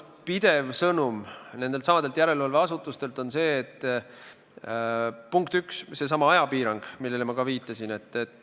Pidev sõnum nendeltsamadelt järelevalveasutustelt on olnud, punkt üks, seesama ajapiirang, millele ma ka viitasin.